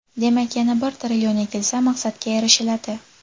Demak, yana bir trillion ekilsa, maqsadga erishiladi.